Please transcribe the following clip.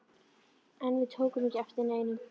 En við tókum ekki eftir neinu.